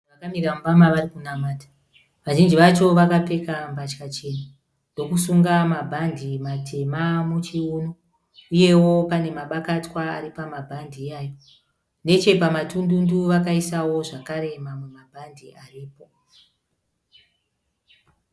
Vanhu vakamira muimba varikunamata. Vazhinji vacho vakapfeka mbatya chena, ndokusunga mabhandi matema muchiuno, uyewo pane mabakatwa ari pamabhandi ayayo. Nechepamatundundu vakaisawo zvekare mamwe mabhadhi aripo.